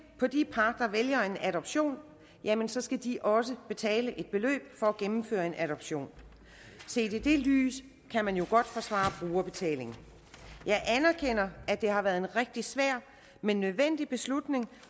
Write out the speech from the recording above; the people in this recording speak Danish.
på de par der vælger en adoption jamen så skal de også betale et beløb for at gennemføre en adoption og set i det lys kan man jo godt forsvare brugerbetaling jeg anerkender at det har været en rigtig svær men nødvendig beslutning